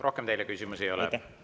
Rohkem teile küsimusi ei ole.